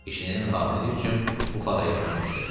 İşinin xatiri üçün Buxaraya köçmüşdü.